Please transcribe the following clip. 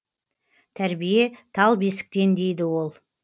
тәрбие тал бесіктен дейді ол